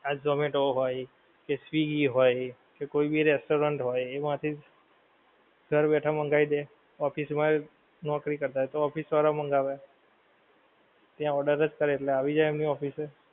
આ ઝોમેટો હોય કે સ્વીગી હોય કે કોઈ ભી restaurant હોય એમાંથી ઘર બેઠા માંગવી દે office માં નૌકરી કરતાં હોયતો office વાળાંઓ મંગાવે, ત્યાં order જ કરે એટલે આવી જાય એમની office એ